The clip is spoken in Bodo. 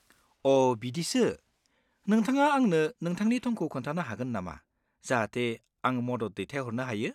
अ' बिदिसो; नोंथाङा आंनो नोंथांनि थंखौ खोन्थानो हागोन नामा, जाहाथे आं मदद दैथायहरनो हायो?